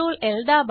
CtrlL दाबा